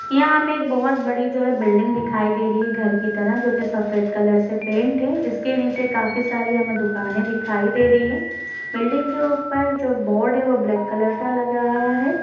यहाँ हमें एक बहोत बड़ी जो है बिल्डिंग दिखाई दे रही है घर कि तरह जोकि सफेद कलर से पेंट है इसके नीचे काफी सारी हमें दुकाने दिखाई दे रही हैं| बिल्डिंग के ऊपर जो बोर्ड है वह ब्लैक कलर का लग रहा है।